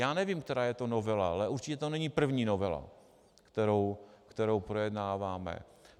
Já nevím, která je to novela, ale určitě to není první novela, kterou projednáváme.